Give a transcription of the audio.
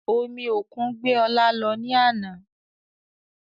Omi òkun gbé ọ̀la lọ ní àná